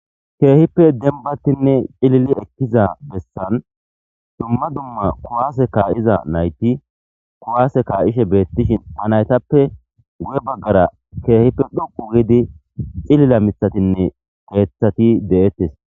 keehippe denbattinne cilili ekkiza bessan dumma dumma kuwaase kaa7iza nayti kuwaase kaa7ishe beettishin ha naytappe gu7e baggara keehippe dhuqu giidi cilila mithatinne keeththati de7ettes